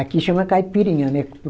Aqui chama caipirinha, né?